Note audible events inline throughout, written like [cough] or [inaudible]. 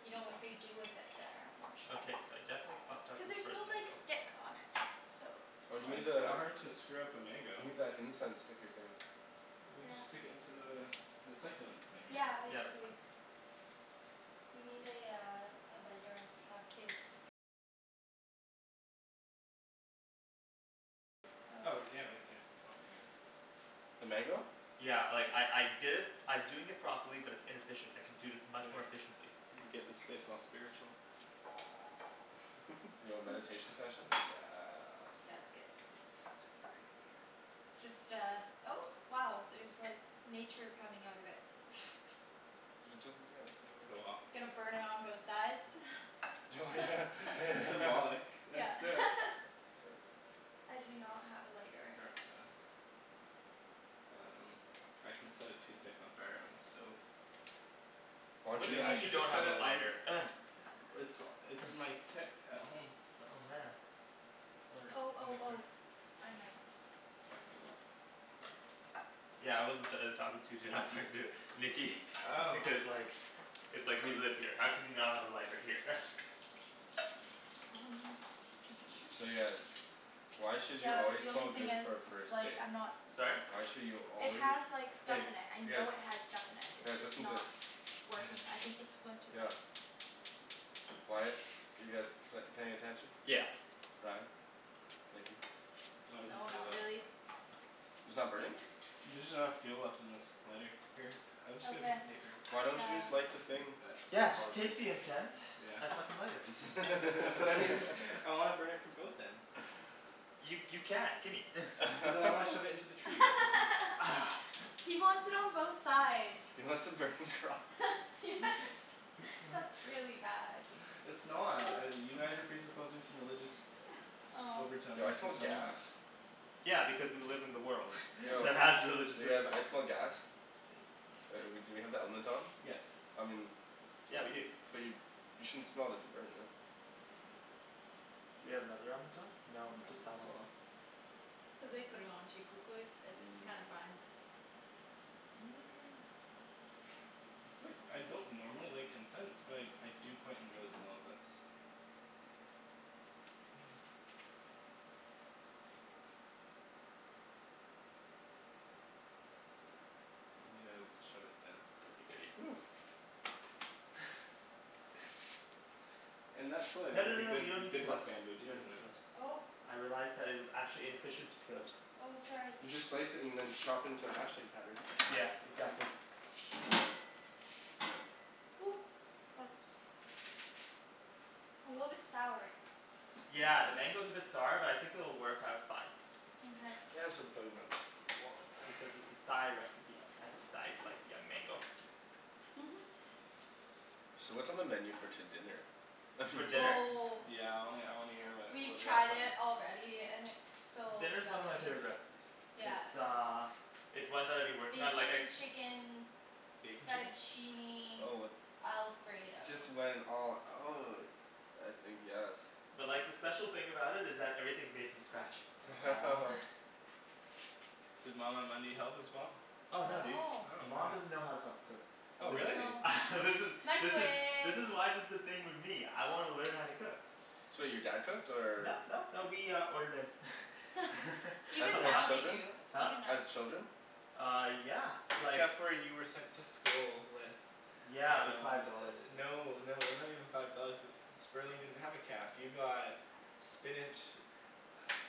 you know what they do with it there, I'm not sure. Okay, so I definitely fucked up Cuz this there's first no like mango. stick on it, so Oh you Well need it's kinda the, hard to screw up a mango. you need that incense sticker thing. We just stick into the the succulent thing right? Yeah, Yeah, that's basically. fine. Oh yeah right there, that'll be good. The mango? Yeah, like I I did it I'm doing it properly but it's inefficient, I can do this much Anyway, more efficiently. let me get this place all spiritual. Yo, [laughs] meditation session, yes. Yeah, that's good. Just uh, oh wow there's like nature coming out of it [noise] It doesn't, Go off yeah, [inaudible] Gonna burn it on both sides [laughs] [laughs] Yeah [laughs] That's it I do not have a lighter. [noise] Um, I can set a toothpick on fire on the stove. Why What don't do you Wait, you I mean just you should just don't set have a it on lighter? [noise] It's [noise] it's in my kit at home. Oh man. Or, I Oh don't oh really care oh, I might. Yeah I wasn't talking to you dude I was talking to Nikki because like It's like we live here, how can we not have a lighter here? [laughs] Um I'm not sure. So yeah, why should you Yeah but always the smell only thing good is for a first it's like date? I'm not Sorry? Why should you It always, has like stuff hey in it, I you guys, know it has stuff in it. It's guys just listen to this not working. [noise] I think this one too is out. Why- you guys p- paying attention? Yeah. Ryan? Thank you. No it doesn't No, stay not lit. really It's not burning? There's just not enough fuel left in this lighter. Here, I'll just get a Okay, piece of paper. Why don't you uh just light the thing? Yeah, just take the incense [noise] and fucking light it. [laughs] [laughs] I wanna burn it from both ends. You you can, gimme [noise] But then I wanna shove it into the tree [laughs] [laughs] He wants it on both sides. He wants a burning cross. [laughs] That's really bad. It's not, uh you guys are presupposing some religious overtone Yo I smell gas. [inaudible] Yeah because we live in the world [laughs] that has religious You guys, rituals. I smell gas. Uh we do we have the element on? I mean - but you you shouldn't smell if you're burning it. Do we have another element on? No, No, just it's that one. not on. Cuz they put it on too quickly, it's kinda fine. [noise] It's like I don't normally like incense but I I do quite enjoy the smell of this. [noise] Yeah, shove it down [inaudible] No no no no we don't need to peel that, we don't need to peel that. Oh I realized that it was actually inefficient to peel it. Oh, sorry. You just slice it and then chop it into a hashtag pattern. Yeah, exactly. Ooh, that's A little bit sour. Yeah, the mango's a bit sour but I think it'll work out fine. Mkay Yeah, it's for the bug in my butt, my wallet [noise] Because it's a Thai recipe and Thais like young mango. Mhm So what's on the menu for to- dinner? For dinner? Oh Yeah I wanna I wanna hear wha- what We've we got tried it planned. already and it's so Dinner's one yummy. of my favorite recipes. Yeah It's uh it's one that I've been working on like I Bacon chicken Bacon chicken? fettuccine alfredo Just went all out. I think yes. But like the special thing about it is that everything's made from scratch. [laughs] Does mama [inaudible] help as well? Oh no dude, No. Oh man. mom doesn't know how to fucking cook. Oh Oh This really? no. [laughs] This is this is this Microwave is why there's this thing with me. I wanna learn how to cook. So your dad cooked or No, no, no, we uh ordered in [noise] [laughs] As a Even as now lot they children? do, Huh? even now. As children? Uh, yeah, like Except for you were sent to school with Yeah, but Um, five dollars, it's like no no they're not even five dollars cuz Sperling didn't have a caf, you got spinach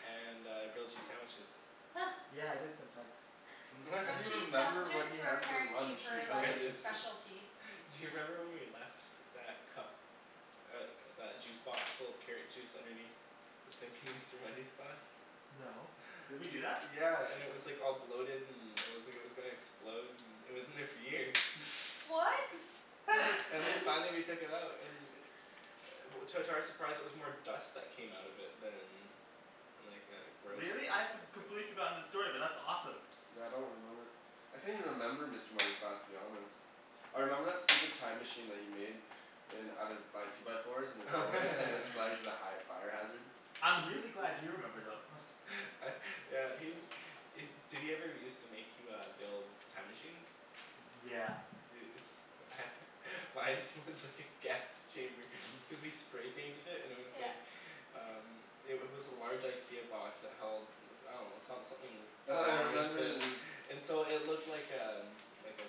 and uh grilled cheese sandwiches. [laughs] Yeah, I did sometimes. [laughs] Grilled You cheese remember what sandwiches he were had for apparently lunch in her I like elementary just school. specialty. Do you remember when we left that cup, uh that juice box full of carrot juice underneath the sink in Mr. Mundy's class? No, did we do that? Yeah, and it was like all bloated and it looked like it was gonna explode and it was in there for years. What? And then [laughs] finally we took it out and [noise] To- to our surprise it was more dust that came out of it than than like uh gross Really? I've com- completely forgotten the story, but that's awesome. Yeah I don't remember. I can't even remember Mr. Mundy's class to be honest. I remember that stupid time machine that he made. In out of by two by fours in the doorway and it was [noise] flagged [laughs] as a high fire hazard. I'm really [laughs] glad you remember though [noise] [laughs] uh yeah he- did he ever used to make you uh build time machines? Yeah. Dude [laughs] mine was just like a gas chamber cuz we spray painted it and it was like Yeah Um, it wa- was a large IKEA box that held [noise] I dunno, some- something Oh, I long and remember thin the [noise] and so it looked like um, like a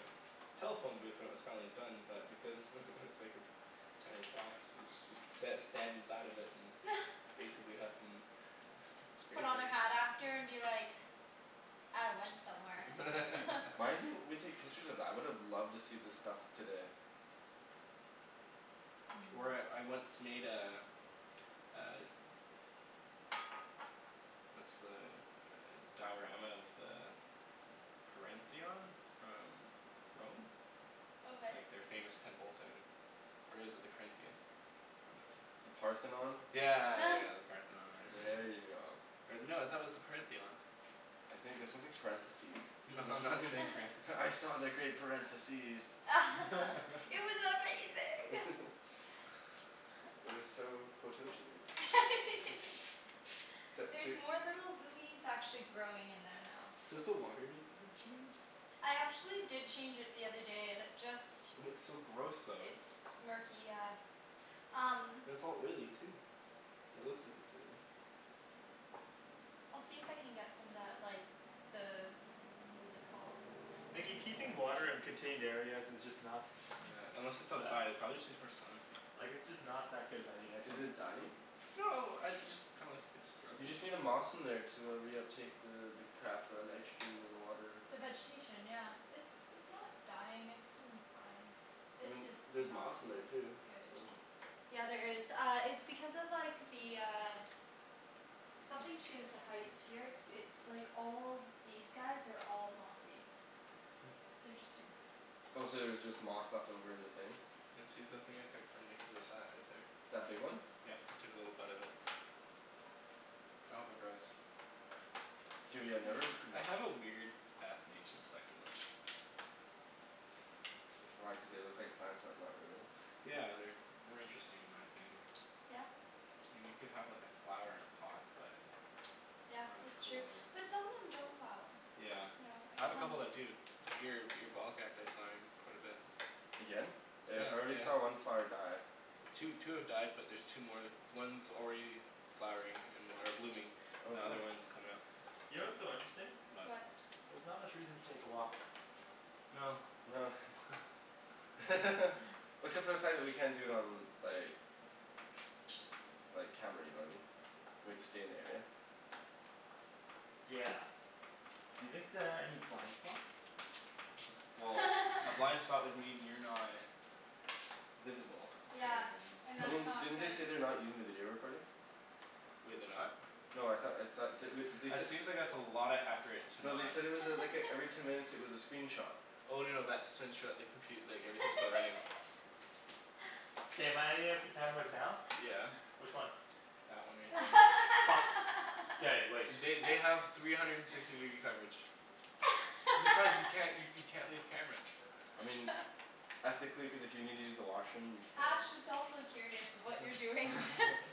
telephone booth when it was finally done but because [laughs] it was like this tiny box so- so you sat or stand inside of it and [noise] basically huffin' spray Put on a hat after paint and be like "I went somewhere" [laughs] Why [laughs] didn't we take pictures of that? I would've loved to see the stuff today. Or I- [noise] I once made a uh What's the uh diorama of the Parentheon? From Rome? Okay Like their famous temple thing. Or is it the Corinthian? One of the The two. Parthenon? Yeah yeah yeah yeah, [noise] the Parthenon or whatever There you it go. was. Or no, I thought it was the "Parentheon". I think that sounds like parentheses. No [laughs] I'm not saying [laughs] [laughs] parentheses. "I saw the great parentheses." [laughs] [laughs] It was amazing [laughs] [laughs] It was so quototion-y [laughs] it's li- it's There's like more little lilies actually growing in there now. Does the water need to be changed? I actually did change it the other day and it just It looks so gross though. It's murky, yeah. Um And it's all oily too. Or it looks like it's oily. I'll see if I can get some of that like the What is it called? Nikki keeping water in contained areas is just not Yeah, unless it's outside, [noise] it prolly just needs more sun. Like it's just not that good of an idea, I Is think. it dying? No, I- it just kinda looks like it's You struggling. just need a moss in there to uh reuptake the the crap uh nitrogen in the water. The vegetation yeah, it's it's not dying it's doing fine. I This mean, there's is not moss in there too, good. so Yeah, there is, uh it's because of like the uh Something to do with the height here, it's like all these guys are all mossy. It's interesting. Oh so there's just moss left over in the thing? Yeah, see that thing I took from Nikki was that right there. That big one? Yeah, I took a little bud off it. I hope it grows. Dude, yeah, I never I have a [noise] weird fascination with succulents. Why, cuz they look like plants but not really? Yeah, they're more interesting in my opinion. Yeah? I mean, you can have like a flower in a pot, but Yeah, Not as that's true, cool as but some of them don't flower. Yeah, Yeah, it I have a couple depends. that do. Your- your ball cacti is flowering quite a bit Again? Yeah, I already saw yeah. one flower die. Two two have died but there's two more. One's already flowering an- or blooming. Oh The cool. other one's comin' up. You know what's so interesting? What? There's not much reason to take a walk. No. No [laughs] [laughs] except for the fact that we can't do it on like like, camera, you know what I mean? We have to stay in the area. Yeah. You think there are any blind spots? Well, a [laughs] blind spot would mean you're not visible, Yeah, and and I that's mean, not didn't they say good. they're not using the video recording? Wait, they're not? No, I thought I thought they wou- they That said seems like it's a lotta effort to No, not they said it was a like a every ten [laughs] minutes it was a screenshot. Oh no no that's to ensure the compu- like everything's still running. [laughs] K, am I on any of the cameras now? Yeah. Which one? That one right there. Fuck. K, wait. They they have three [laughs] hundred and sixty degree coverage. Besides you can't you you [laughs] can't leave camera. I mean ethically, cuz if you need to use the washroom you Ash can. is also curious of what you're doing [laughs] [laughs]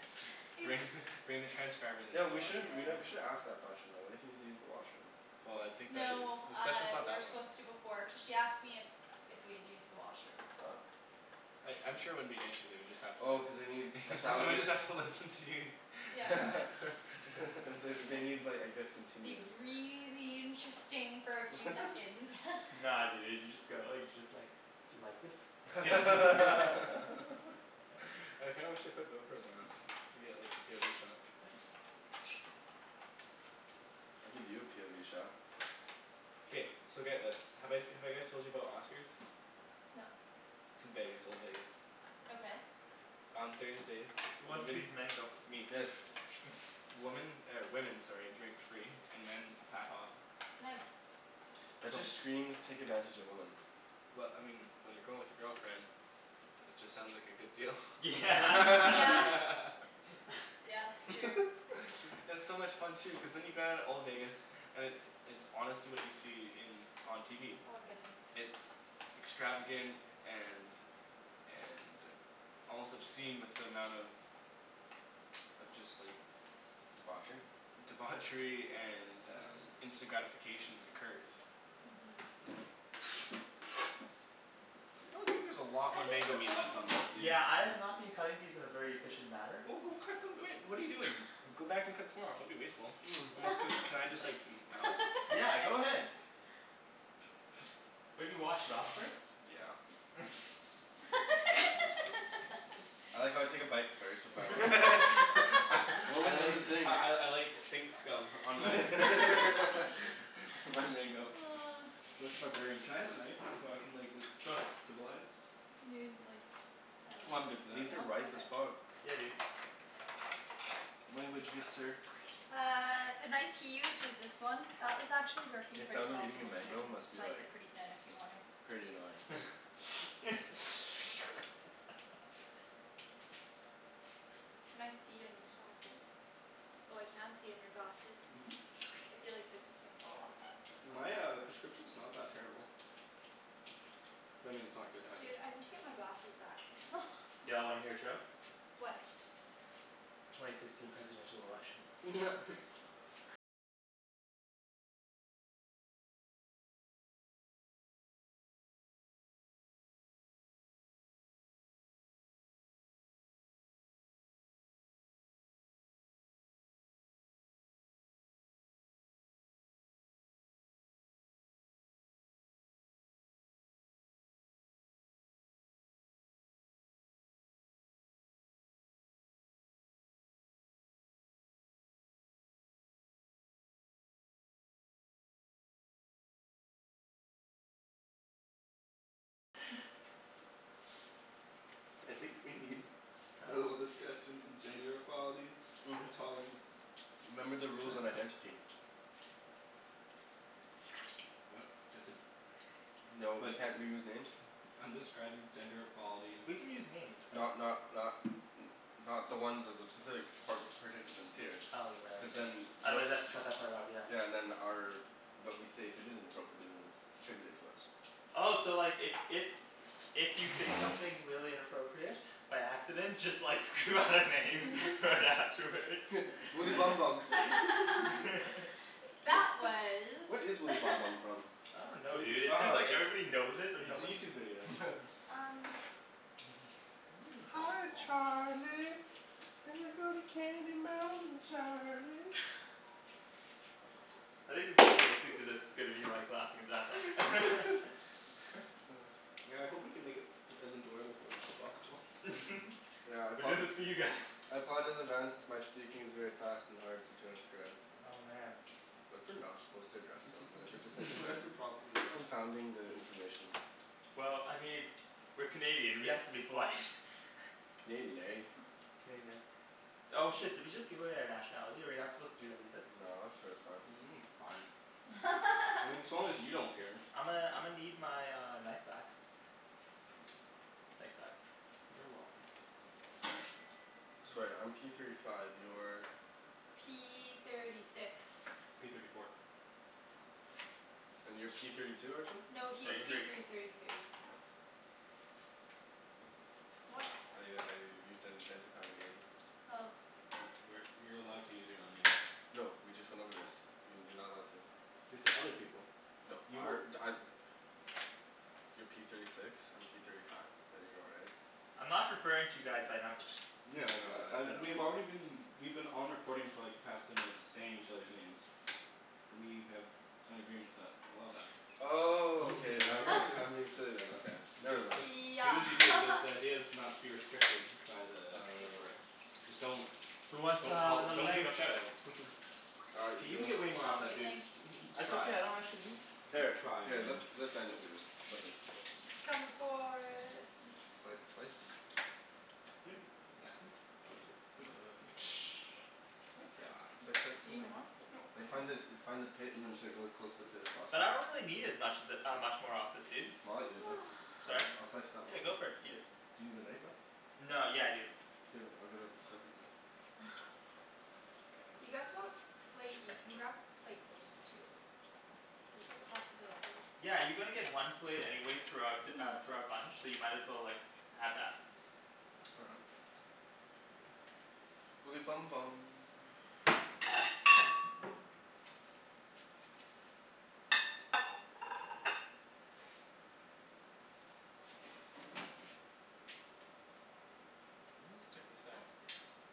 Bring He's- bring the transcribers into Yo, the we should've washroom we with nev- you. we should've asked the question though. What if you need to use the washroom? Well I think that it's No, the uh session's not we were that long. supposed to before cuz she asked me if if we had used the washroom. Oh. I- I'm sure it wouldn't be an issue, they would just have to Oh cuz they need a [laughs] thousand Somebody's have to listen to you Yeah [laughs] [laughs] they wou- they need like I guess It'd continuous be really interesting for a few [laughs] seconds [laughs] Nah dude, you just go like, you just like, "do you like this?" [laughs] [laughs] [laughs] [laughs] [noise] I kinda wish they put GoPros on us. We'd get like the POV shot. I'll give you a POV shot. K, so get this. Have I- have I guys told you about Oscar's? No. It's in Vegas, old Vegas. Okay. On Thursdays, Who wants a piece of women mango? Me. Yes. Woman, or women, sorry, drink free and men half off. Nice. That just screams take advantage of women. Well, I mean, when you're going with your girlfriend, it just sounds like a good deal [laughs] Yeah Mm, yeah. [laughs] [laughs] [laughs] Yeah, true. It's so much fun too, cuz then you get out of old Vegas. And it's it's honestly what you see in on TV. Oh I'm good, thanks. It's extravagant and and, almost obscene with the amount of of just like Debauchery? Debauchery and instant gratification occurs. [noise] That looks like there's a lot I more think mango the meat old left on those, dude. Yeah, I have not been cutting these in a very efficient manner. Well, go cut them, I mean, what are you doing? Go back and cut some more off, don't be wasteful. Almost can, [noise] can I [laughs] just gnaw? Yeah, go ahead. [laughs] Maybe wash it off first. Yeah [laughs] [laughs] I like how I take a bite first before I [laughs] wash it. I [laughs] What I was in like the [laughs] sink? I I I like sink scum on my [laughs] [laughs] [laughs] [laughs] my mango [noise] like a barbarian. Can I have a knife? So I can like look Go ahead. civilized? You didn't like I dunno. I'm good for that. These are No? ripe Okay as fuck. Yeah dude. Language, good sir. Uh the knife [noise] he used was this one. That was actually working The pretty sound of well for eating a me, you mango can must be slice like, it pretty thin if you want to pretty annoying. [noise] [laughs] Can I see in your glasses? Oh I can't see in your glasses. I feel like this [noise] is gonna fall off or My uh [inaudible] prescription's not that terrible. I mean it's not good either. Dude, I need to get my glasses back [laughs] Y'all wanna hear a joke? What? Twenty sixteen presidential election. [laughs] I think we need [noise] a little discussion in gender equality [noise] and tolerance. Remember the rules on identity. [noise] What? Just said No, you But can't use names. [noise] I'm describing gender equality. We can use names, right? Not not not n- not the ones of the specific par- participants here. Oh, you're right Cuz ye- then otherwise they'll have to cut that part out, yeah. Yeah, and then our but we say if it isn't appropriate it isn't attributed to us. Oh so like if if If you say something really inappropriate by accident just like scream out a name right afterwards [laughs] Woody Bum Bum [laughs] [laughs] Wha- That was what is Woody [laughs] Bum Bum from? I don't know dude, it's just like everybody knows it But but no it's a one YouTube video. [laughs] Um Hi Charlie, we go to Candy Mountain Charlie. I think the person listening to Oops this is gonna be like laughing his ass off [laughs] [laughs] Yeah, I hope we can make it as enjoyable for them as possible. [laughs] Yeah, I We're apo- doing this for you guys. I apologize in advance if my speaking is very fast and hard to transcribe. Oh man What if we're not supposed to address them? What if we're just thinking [laughs] confounding the information. Well, I mean, we're Canadian, we have to be polite. Canadian, eh? Canadian, eh? Oh shit, did we just give away our nationality? Are we not supposed to do that either? No, I'm sure it's fine. [noise] It's fine. I mean as [laughs] long as you don't care. I'ma I'ma need my uh knife back. Thanks bud. You're welcome. So right, I'm P thirty five, you're P thirty six P thirty four And you're P thirty two, Arjan? No, he's Thirty Arjan? P three thirty thirty three. What? I I used that to identify your name. Oh. We're you're allowed to use your own name. No, we just went over this. You- you're not allowed to. They said other people. No You were our [noise] You're P thirty six, I'm P thirty five. There you go right? I'm not referring to you guys by numbers. Yeah like I I uh we've already been we've been on recording for like the past ten minutes saying each others' names. We have signed agreements that allow that. Oh, okay all [laughs] right, [laughs] I'm being remember? silly then, okay. Never Just mind. just do Yeah as you do because the [laughs] idea is not to be restricted by the recording. Just don't Who wants Don't uh call, another don't give mango? shout outs. K, you can [inaudible] get No way more off I'm that, good, dude. thanks. That's Try. okay, I don't actually need Here, Try let man let [inaudible] It's comin' for Sli- slice? [noise] It's like Do something you need like more? Like find the find the pit and just go as close to the pit as possible. But I don't really need as much of it uh much more of this, dude. Well I'll eat it then. I'll Sorry? [noise] jus- I'll slice Yeah, go for it, eat [inaudible] it. Do you need the knife though? No, yeah I do. Do you have a- I'll get a second knife. [noise] You guys want a plate, you can grab a plate, too. Like it's a possibility. Yeah, you're gonna get one plate anyway throughout uh throughout bunch, so you might as well like have that. All right. Woody Bum Bum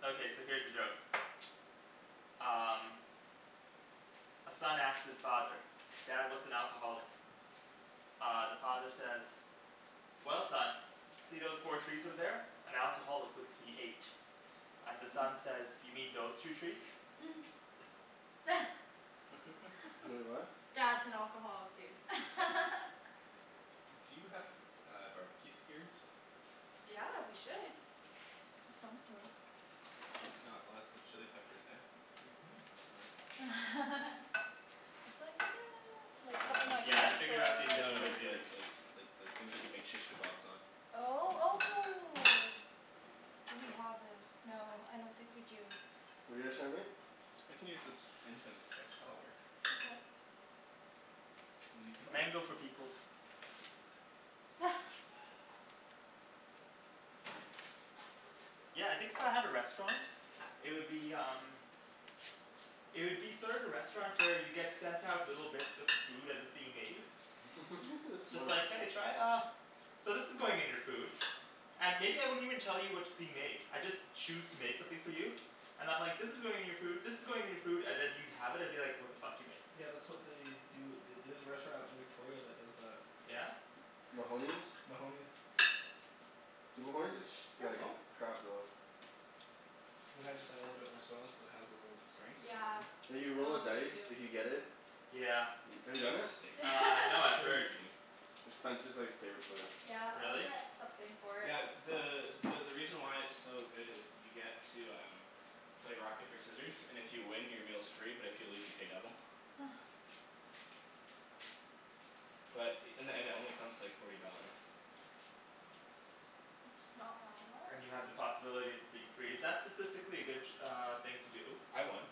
Okay, so here's a joke [noise] Um A son asks his father, "Dad, what's an alcoholic?" Uh the father says "Well son, see those four trees over there? An alcoholic would see eight." And the son says "You mean those two trees?" [noise] [laughs] Wai- , [laughs] what? Dad's an alcoholic dude [laughs] Do you have uh barbecue skewers? Yeah, we should Of some sort Got lots of chili peppers eh? [laughs] It's like no, like something like Yeah, I this? figured out the Or like No efficient no way to do this. like like like the things that you make shish kebabs on Oh, oh Do we have this? No, I don't think we do. What're you guys trying to make? I can use this incense stick, that'll work. Okay. And then you can light it. Mango for peoples. [noise] Yeah, I think if I had a restaurant, it would be um It would be sort of the restaurant where you get sent out little bits of the food as it's being made [laughs] That's It's smart like "Hey, try uh" "So this is going in your food" And maybe I wouldn't even tell you what's being made. I'd just choose to make something for you. And I'm like "this is going in your food, this is going in your food" and then you'd have it and be like "what the fuck did you make?" Yeah that's what they do at the- there's a restaurant in Victoria that does that. Mahoney's? Mahoney's Dude, Mahoney's is sh- There you like go. Perfect. crap though. And then I just I add little bit more swell so it has a little strength [noise] Yeah, Like you roll a oh me dice if too. you get it. Yeah. Have you It's done just a it? steak knife. Uh no I've That's where we'll heard be [laughs] eating. It's Spencer's like favorite place. Yeah, I'll Really? get something for it. Yeah, the the the reason why it's so good is you get to um play rock paper scissors and if you win your meal's free but if you lose you pay double. [noise] But in the end it only comes to like forty dollars. It's not bad at all. And you have the possibility of it being free, is that statistically a good uh thing to do? I won.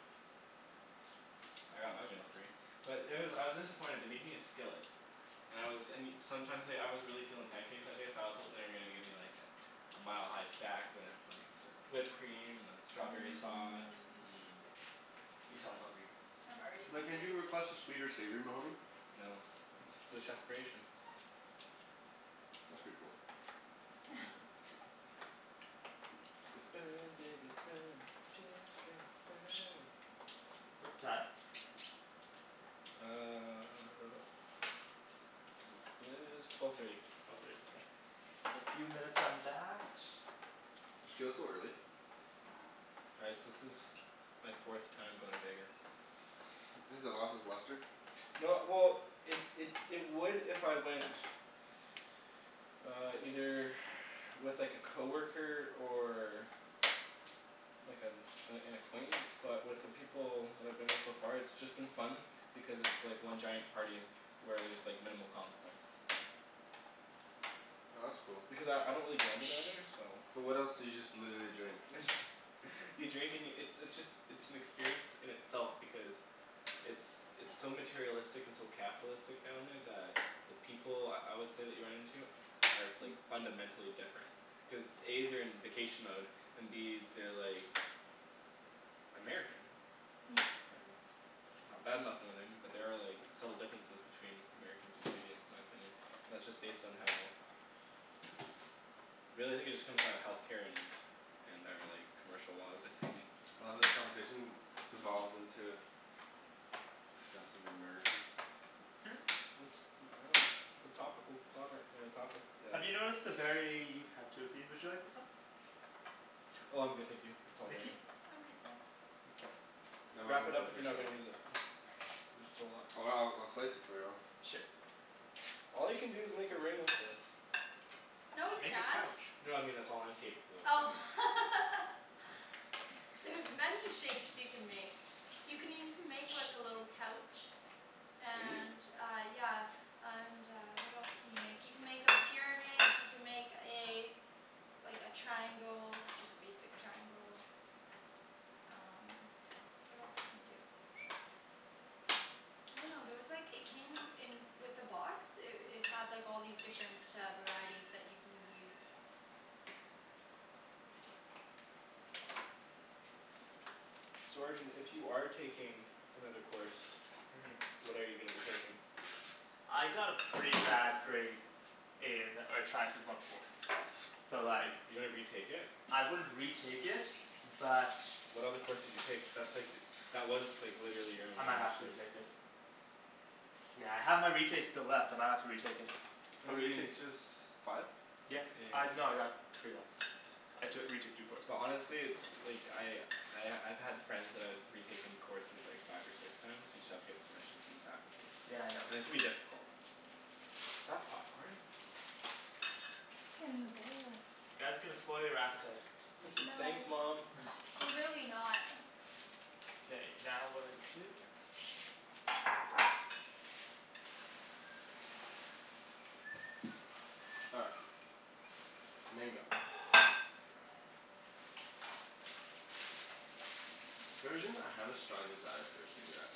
I got my meal free. But there was, I was disappointed, they made me a skillet. And I was and you, sometimes like, I was really feelin' pancakes that day so I was hopin' they were gonna give me like a a mile-high stack with like the whipped cream and the strawberry sauce, Mmm mm You can tell I'm hungry. I'm already Like can't you hungry. request a sweet or savory Mahoney? No, it's the chef creation. That's pretty cool. [noise] [laughs] [noise] Burn baby burn disco inferno What's the time? Uh [noise] It is twelve thirty. Another few minutes on that. It feels so early. Guys this is my fourth time going to Vegas. Has it lost its luster? No well it it it would if I went Uh either with like a coworker or like an an an acquaintance but with the people that I've been with so far it's been just fun because it's just like one giant party where there's like minimal consequences. Oh that's cool. Because I I don't really gamble down there so But what else, so you just literally drink? [laughs] You drink and yo- it's it's just it's an experience in itself because it's it's so materialistic and so capitalistic down there that the people I would say that you run into are like fundamentally different cuz A they're in vacation mode and B they're like American. [noise] [noise] Not badmouthing or anything but there are like subtle differences between Americans and Canadians in my opinion and that's just based on how really I think it just comes down to healthcare and our like commercial laws I think. I love how this conversation devolved into discussing the Americans. Hmm? [noise] I dunno it's a topical comment on a topic that Have you noticed a very, you've had two of these, would you like this one? Oh I'm good, thank you, it's all Nikki? dandy. I'm good, thanks. Okay. No Wrap it up if you're not gonna use it. [inaudible] There's still lots. Oh I'll I'll slice it for you. Sure. All you can do is make a ring with this. No you Make a can't. couch. No I mean that's all I'm capable of Oh [laughs] doing. There's many shapes you can make. You can even make like a little couch. Can you? And uh, yeah And uh what else can you make, you can make a pyramid you can make a Like a triangle, just basic triangle. Um what else can you do? I dunno, there was like, it came in with the box, it it had like all these different uh varieties that you can use. So Arjan if you are taking another course Mm What are you gonna be taking? I got a pretty bad grade in earth sciences one oh four, so like You're gonna retake it? I wouldn't retake it but What other courses you take? Cuz that's like, that was like literally your I only might have to option. retake it. Yeah I have my retakes still left, I might have to retake it. What How do many you mean? retakes? Just Five? Yeah, I, no I got three left, I took retook two courses. Well honestly it's like, I I I've had friends that have retaken courses like five or six times you just have to get permission from the faculty Yeah, I know. and it can be difficult. Is that popcorn? In the bowl You guys are gonna spoil your appetite. [laughs] Thanks No. mom. [noise] We're really not [noise] K, now what do I need to do? All right. Mango For some reason I have a strong desire for a cigarette.